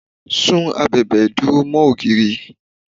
Sún abèbè ìdúró mó ògiri.